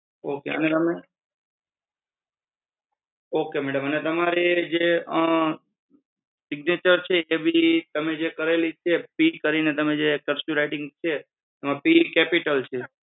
અને તમે ok madam અને તમારી જે singature છે એ ભી તમે જે કરેલી છે પી કરીને જે cursive writing છે એમાં પી કેપિટલ છે.